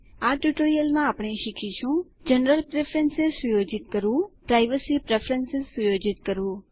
આ ટ્યુટોરીયલમાં આપણે શીખીશું160 જનરલ પ્રેફરન્સ સુયોજિત કરવું પ્રાઇવસી પ્રેફરન્સ સુયોજિત કરવું